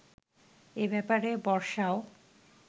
এ ব্যাপারে বর্ষাও